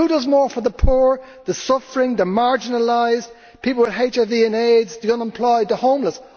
Who does more for the poor, the suffering, the marginalised, people with HIV and AIDS, the unemployed and the homeless?